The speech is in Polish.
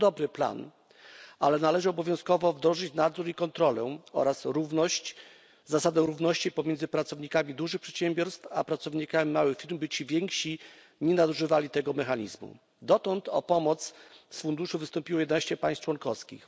To dobry plan, ale należy obowiązkowo wdrożyć nadzór i kontrolę oraz zasadę równości pomiędzy pracownikami dużych przedsiębiorstw a pracownikami małych firm, by ci więksi nie nadużywali tego mechanizmu. Dotąd o pomoc z Funduszu wystąpiło 11 państw członkowskich.